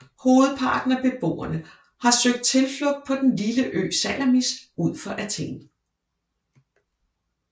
Hovedparten af beboerne har søgt tilflugt på den lille ø Salamis ud for Athen